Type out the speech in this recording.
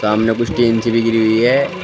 सामने कुछ टीन सी भी घिरी हुई है।